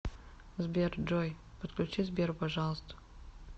сбер джой подключи сбера пожалуйста